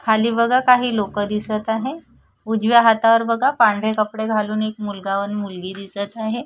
खाली बघा काही लोक दिसत आहे उजव्या हातावर बघा पांढरी कपडे घालून एक मुलगा व एक मुलगी दिसत आहे.